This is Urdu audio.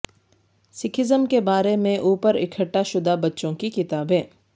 سکھزم کے بارے میں اوپر اکٹھا شدہ بچوں کی کتابیں